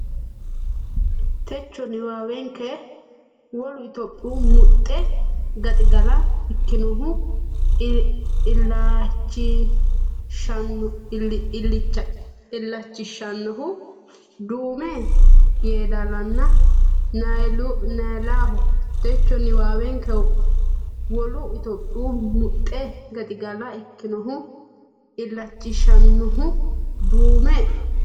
Techo niwaawenke Wolu Itophiyaho muxxe gaxigala ikkinohu illachishshannohu Duume Yeedaalanna Niyaalaho Techo niwaawenke Wolu Itophiyaho muxxe gaxigala ikkinohu illachishshannohu Duume.